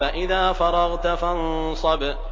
فَإِذَا فَرَغْتَ فَانصَبْ